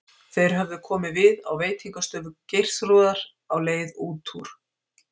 Þeir höfðu komið við á veitingastofu Geirþrúðar á leið út úr